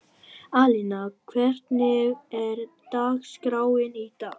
Alena, hvernig er dagskráin í dag?